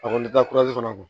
A kɔni bɛ taa fana bɔ